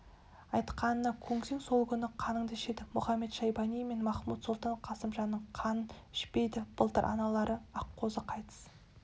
айтқанына көнсең сол күні қаныңды ішеді мұхамед-шайбани мен махмуд-сұлтан қасымжанның қанын ішпейді былтыр аналары аққозы қайтыс